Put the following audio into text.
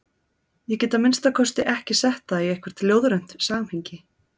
Ég get að minnsta kosti ekki sett það í eitthvert ljóðrænt samhengi.